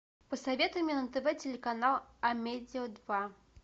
посоветуй мне на тв телеканал амедиа два